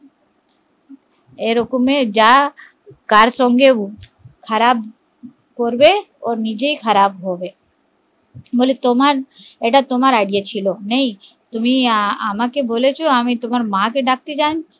এরকম এ যা কার সঙ্গে যা খারাপ করবে ও নিজেই খারাপ হবে, বলে এটা তোমার idea ছিল তুমি আমাকে বলেছো আমি তোমার মা কে ডাকতে যাই